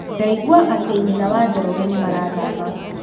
Ndaigua atĩ nyina wa Njoroge nĩ marathama.